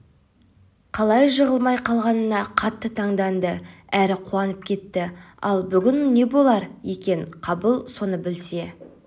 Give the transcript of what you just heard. қалай жығылмай қалғанына қатты таңданды әрі қуанып кетті ал бүгін не болар екен қабыл соны біле